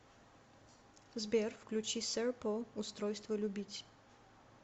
сбер включи серпо устройство любить